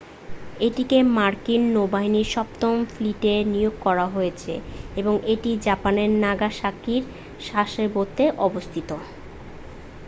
এটিকে মার্কিন নৌবাহিনীর সপ্তম ফ্লিটে নিয়োগ করা হয়েছে এবং এটি জাপানের নাগাসাকির সাসেবোতে অবস্থিত